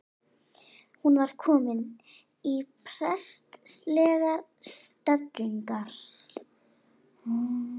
Hún var komin í prestslegar stellingar.